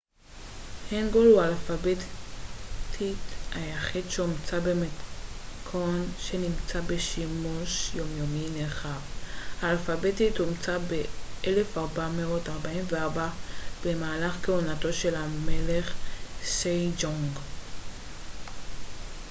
הנגול הוא האלפבית היחיד שהומצא במתכוון שנמצא בשימוש יומיומי נרחב. האלפבית הומצא ב-1444 במהלך כהונתו של המלך סייג'ונג 1418 - 1450